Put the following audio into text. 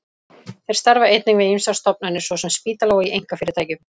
Þeir starfa einnig við ýmsar stofnanir, svo sem spítala, og í einkafyrirtækjum.